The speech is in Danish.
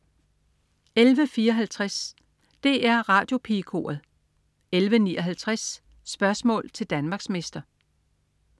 11.54 DR Radiopigekoret 11.59 Spørgsmål til Danmarksmester